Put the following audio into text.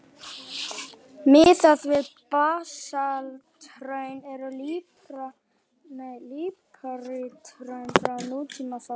Miðað við basalthraun eru líparíthraun frá nútíma fá.